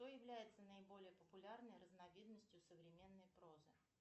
что является наиболее популярной разновидностью современной прозы